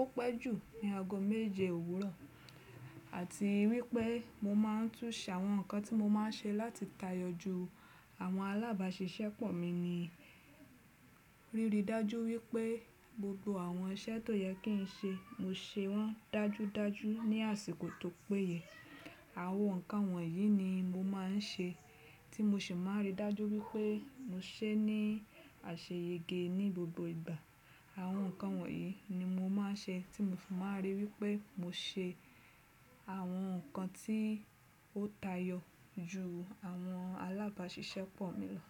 ó pẹ́ jù ní ago méje òwúrọ̀. Àti wípé mo máa n tún ṣàwọn nǹkan tí mo máa ń ṣe láti tayọ ju àwọn alábáàṣiṣẹ́pọ̀ mi ni, rirí dájú wípé gbogbo àwọn iṣẹ́ tó yẹ kí ń ṣe, mo ṣe wọ́n dájú dájú ní àsìkò tó péye. Àwọn nǹkan wọ̀nyí ni mo máa ń ṣe tí mo sì máa n rí dájú wípé mo ṣe é ní àṣeyẹge ní gbogbo ìgbà. Àwọn nǹkan wọ̀nyí ni mo máa ń ṣe tí mo fì máa n rí wípé mo ṣe àwọn nǹkan tí ó tayọ ju àwọn alábáàṣiṣẹ́pọ̀ mi lọ.